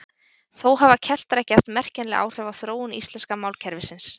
Þó hafa Keltar ekki haft merkjanleg áhrif á þróun íslenska málkerfisins.